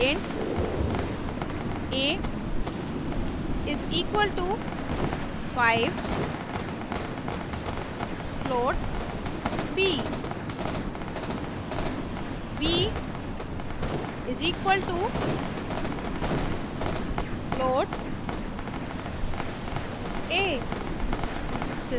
int a = 5 float b b = float a